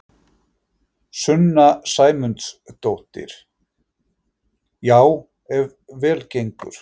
Sunna Sæmundsdóttir: Já ef vel gengur?